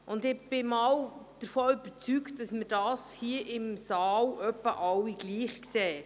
Ich bin eigentlich davon überzeugt, dass wir alle hier im Saal das in etwa gleich sehen.